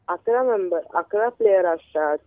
अकरा मेंबर, अकरा प्लेअर असतात.